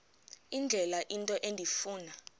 indlela into endifuna